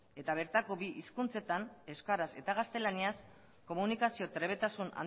eta bertako bi hizkuntzetan euskaraz eta gaztelaniaz komunikazio trebetasun